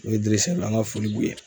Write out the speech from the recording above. O ye an ka foli b'u ye.